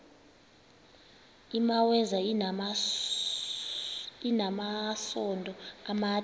imaweza inamasond amade